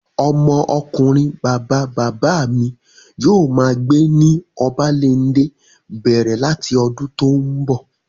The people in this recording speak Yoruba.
Ọmọ ọkunrin bàbá bàbá mi yóò máa gbé ní Obalende bẹ̀rẹ̀ láti ọdún tó n bọ̀